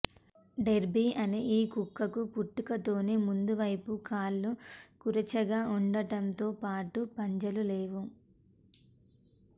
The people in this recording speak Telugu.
డెర్బీ అనే ఈ కుక్కకు పుట్టుకతోనే ముందువైపు కాళ్లు కురచగా ఉండటంతోపాటు పంజాలు లేవు